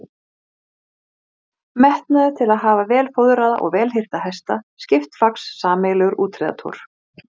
Gauss átti sér skjaldarmerki, sem sýnt er á myndinni hér að ofan.